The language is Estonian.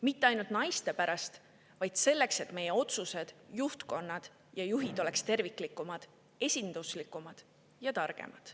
Mitte ainult naiste pärast, vaid selleks, et meie otsused, juhtkonnad ja juhid oleksid terviklikumad, esinduslikumad ja targemad.